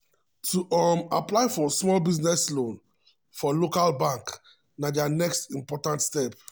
to um apply for small business loan for local um bank na dia um next important step.